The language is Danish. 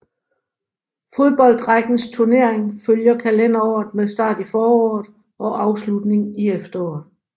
Fodboldrækkens turnering følger kalenderåret med start i foråret og afslutning i efteråret